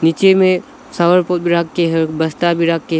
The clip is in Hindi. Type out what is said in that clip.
पीछे में रख के है बस्ता भी रख के--